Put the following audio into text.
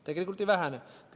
Tegelikult ei vähene.